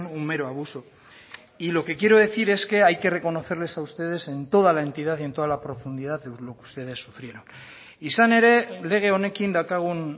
un mero abuso y lo que quiero decir es que hay que reconocerles a ustedes en toda la entidad y en toda la profundidad lo que ustedes sufrieron izan ere lege honekin daukagun